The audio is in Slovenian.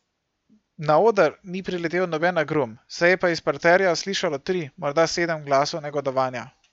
Na oder ni priletel noben agrum, se je pa iz parterja slišalo tri, morda sedem glasov negodovanja.